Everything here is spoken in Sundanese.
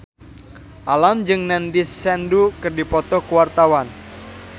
Alam jeung Nandish Sandhu keur dipoto ku wartawan